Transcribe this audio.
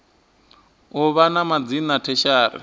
u vha na madzina tertiary